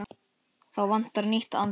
Þá vantar nýtt andlit.